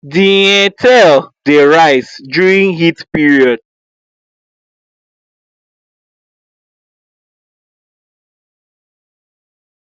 the um tail dey rise during heat period